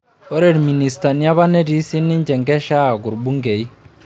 Ore ilministani apa netii sii ninche enkesha aaku ilbungei.